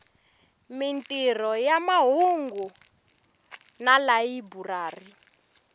mintirho ya mahungu na tilayiburari